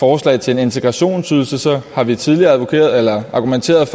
forslag til en integrationsydelse har vi tidligere argumenteret